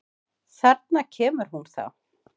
Þarna kemur hún þá!